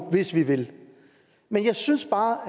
hvis vi vil men jeg synes bare